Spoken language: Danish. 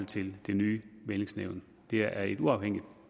til det nye mæglingsnævn det er et uafhængigt